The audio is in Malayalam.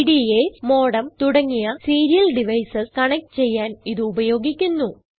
പിഡിഎഎസ് മോഡെം തുടങ്ങിയ സീരിയൽ ഡിവൈസസ് കണക്റ്റ് ചെയ്യാൻ ഇത് ഉപയോഗിക്കുന്നു